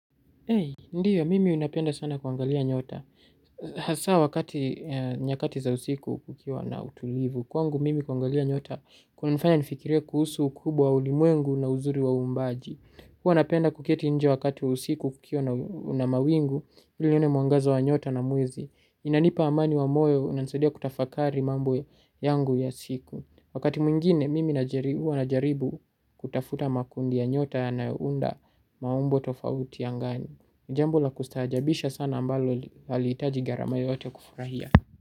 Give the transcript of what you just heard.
Ndiyo, mimi napenda sana kuangalia nyota. Hasa wakati nyakati za usiku kukiwa na utulivu. Kwangu mimi kuangalia nyota, kunanifanya nifikirie kuhusu ukubwa wa ulimuengu na uzuri wa uumbaji. Huwa napenda kuketi nje wakati wa usiku kukiwa na mawingu, ili nione mwangaza wa nyota na mwezi. Inanipa amani wa moyo unanisaidia kutafakari mambo yangu ya siku. Wakati mwingine mimi najaribu kutafuta makundi ya nyota yanayounda maumbo tofauti angani. Ni jambonla kustajaabisha sana ambalo haliitaji gharama yoyote kufurahia.